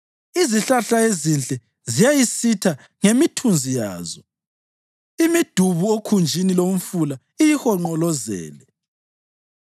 Izihlahla ezinhle ziyayisitha ngemithunzi yazo; imidubu okhunjini lomfula iyihonqolozele.